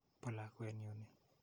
Po lakwet nyu ni.